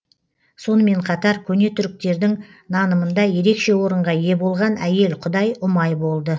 сонымен қатар көне түріктердің нанымында ерекше орынға ие болған әйел құдай ұмай болды